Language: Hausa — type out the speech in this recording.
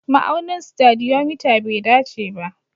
Ma'aunin stadiometer bai dace ba